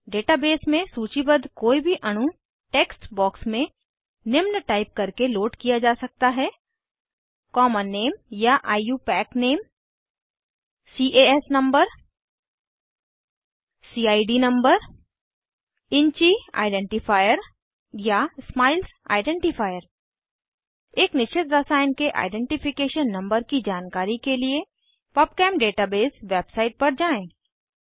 database में सूचीबद्ध कोई भी अणु टेक्स्ट बॉक्स में निम्न टाइप करके लोड किया जा सकता है कॉमन नेम या IUPAC name CS number CID number InChI identifier या स्माइल्स आइडेंटिफायर एक निश्चित रसायन के आइडेंटिफिकेशन नंबर की जानकारी के लिए पबचेम डेटाबेस वेबसाइट पर जाएँ